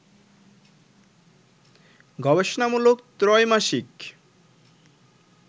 গবেষণামূলক ত্রৈমাসিক